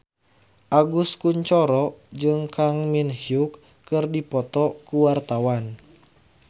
Agus Kuncoro jeung Kang Min Hyuk keur dipoto ku wartawan